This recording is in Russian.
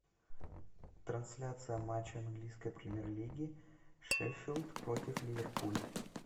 трансляция матча английской премьер лиги шеффилд против ливерпуль